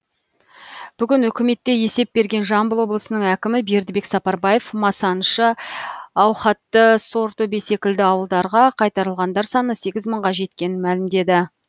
бүгін үкіметте есеп берген жамбыл облысының әкімі бердібек сапарбаев масаншы аухатты сортөбе секілді ауылдарға қайтарылғандар саны сегіз мыңға жеткенін мәлімдеді